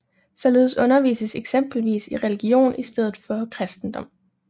Således undervises eksempelvis i religion i stedet for kristendom